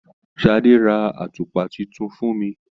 Sadé rà àtùpà títún fún mí.